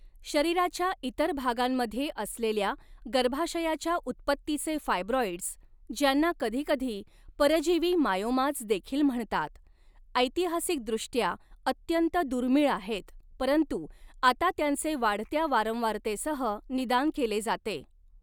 शरीराच्या इतर भागांमध्ये असलेल्या गर्भाशयाच्या उत्पत्तीचे फायब्रॉईड्स्, ज्यांना कधीकधी परजीवी मायोमाज् देखील म्हणतात, ऐतिहासिकदृष्ट्या अत्यंत दुर्मिळ आहेत, परंतु आता त्यांचे वाढत्या वारंवारतेसह निदान केले जाते.